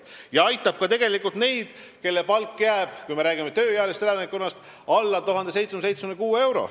See aitab tegelikult ka neid, kui me räägime tööealisest elanikkonnast, kelle palk jääb alla 1776 euro.